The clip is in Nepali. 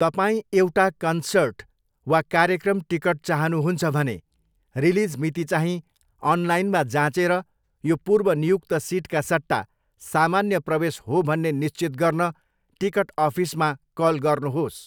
तपाईँ एउटा कन्सर्ट वा कार्यक्रम टिकट चाहनुहुन्छ भने, रिलिज मितिचाहिँ अनलाइनमा जाँचेर यो पूर्व नियुक्त सिटका सट्टा सामान्य प्रवेश हो भन्ने निश्चित गर्न टिकट अफिसमा कल गर्नुहोस्।